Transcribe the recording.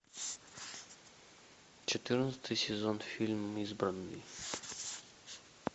четырнадцатый сезон фильм избранный